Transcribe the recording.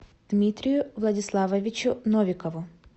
дмитрию владиславовичу новикову